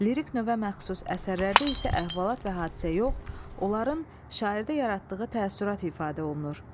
Lirik növə məxsus əsərlərdə isə əhvalat və hadisə yox, onların şairdə yaratdığı təəssürat ifadə olunur.